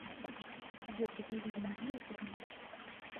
сбер какие виды нибиру ты знаешь